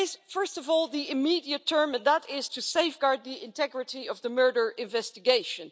First of all there is the immediate term, and that is to safeguard the integrity of the murder investigation.